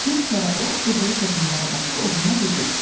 Bir kərə o qızılı toxumlara baxıb oğluna dedi: